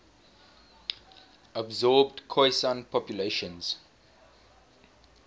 absorbed khoisan populations